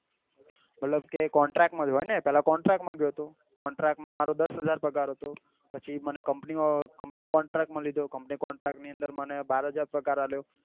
મતલબ કે contract માં જ હોય ને પેલા contract માં ગયો હતો contract માં મારો દસહજાર પગાર હતો પછી મને company contract માં લીધો company contract ની અંદર મને બાર હજાર પગાર આલ્યો